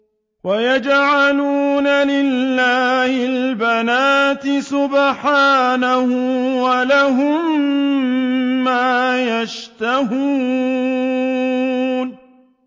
وَيَجْعَلُونَ لِلَّهِ الْبَنَاتِ سُبْحَانَهُ ۙ وَلَهُم مَّا يَشْتَهُونَ